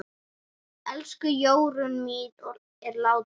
Elsku Jórunn mín er látin.